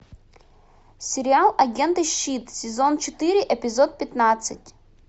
сериал агенты щит сезон четыре эпизод пятнадцать